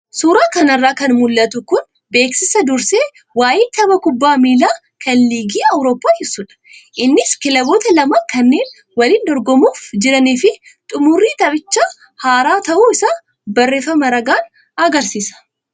Suuraa kanarraa kan mul'atu kun beeksisa dursee waayee tapha kubbaa miilaa kan liigii Awuroppaa ibsudha. Innis kilaboota lama kanneen waliin dorgomuuf jiranii fi xumurri taphichaa har'a ta'uu isaa barreeffama ragaan agarsiisa.